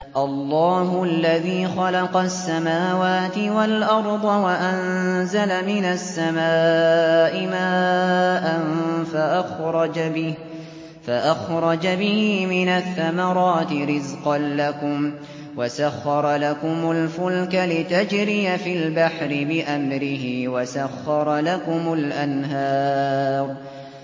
اللَّهُ الَّذِي خَلَقَ السَّمَاوَاتِ وَالْأَرْضَ وَأَنزَلَ مِنَ السَّمَاءِ مَاءً فَأَخْرَجَ بِهِ مِنَ الثَّمَرَاتِ رِزْقًا لَّكُمْ ۖ وَسَخَّرَ لَكُمُ الْفُلْكَ لِتَجْرِيَ فِي الْبَحْرِ بِأَمْرِهِ ۖ وَسَخَّرَ لَكُمُ الْأَنْهَارَ